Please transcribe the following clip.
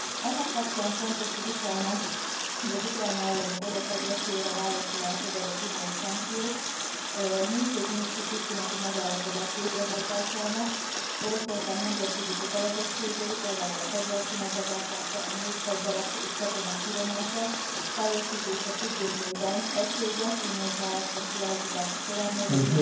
Ennek kapcsán fontos, hogy az Ukrajna elleni orosz agresszióra válaszul elfogadott uniós szankciók mindkét minszki tűzszüneti megállapodás végrehajtásának Oroszország nemzetközi kötelezettségei, például a fegyverszünet betartása, a nehézfegyverek és katonák kivonása, teljesítése függvényében egységes uniós álláspont kialakítása során módosítók